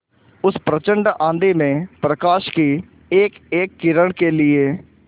उस प्रचंड आँधी में प्रकाश की एकएक किरण के लिए